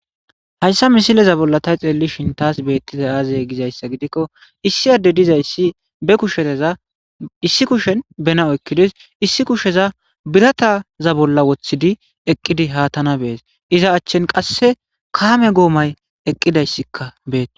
Hayissa misileza bolla tay xeelli shintas beettiza aaze gizayssa gidikko issi adde dizayssi be kusheteza issi kushen benao ekkides issi kusheza birataza bolla woththidi eqqidi haatana bees iza achchen qasse kaame guomay eqqidayssikka beete